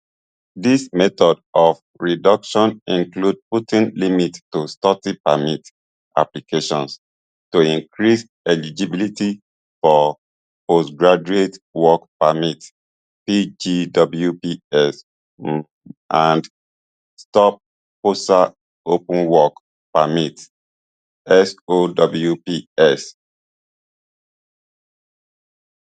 dis method of reduction include putting limit to study permit applications to increase eligibility for postgraduation work permits pgwps um and stopspousal open work permits sowps